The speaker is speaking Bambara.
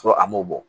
Sɔrɔ a m'o bɔ